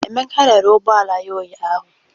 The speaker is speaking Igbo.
Emeka rere ụgbọ ala ya ụnyahụ?